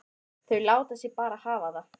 Þau láta sig bara hafa það.